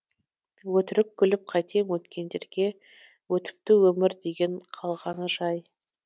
өтірік күліп қайтем өткендерге өтіпті өмір деген қалғаны жай